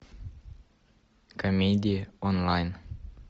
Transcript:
комедии онлайн